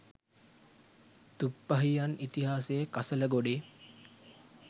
තුප්පහියන් ඉතිහාසයේ කසල ගොඩේ